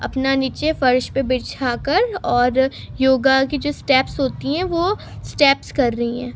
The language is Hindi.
अपना नीचे फर्श पे बिछाकर और योगा के जो स्टेप्स होती हैं वो स्टेप्स कर रही हैं।